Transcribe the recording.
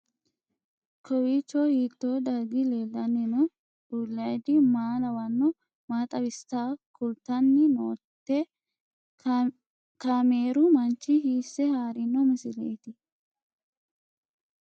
Kowiicho hiito dargi leellanni no ? ulayidi maa lawannoho ? maa xawisse kultanni noote ? kaameru manchi hiisse haarino misileeti?